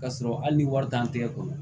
K'a sɔrɔ hali ni wari t'an tɛgɛ kɔnɔ